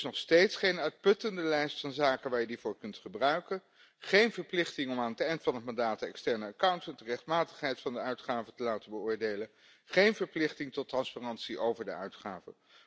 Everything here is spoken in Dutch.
Er is nog steeds geen uitputtende lijst van zaken waar je die voor kunt gebruiken, geen verplichting om aan het eind van het mandaat de externe accountant de rechtmatigheid van de uitgaven te laten beoordelen, geen verplichting tot transparantie over de uitgaven.